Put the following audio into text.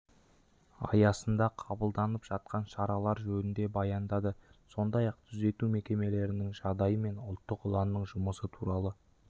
аясында қабылданып жатқан шаралар жөнінде баяндады сондай-ақ түзету мекемелерінің жағдайы мен ұлттық ұланның жұмысы туралы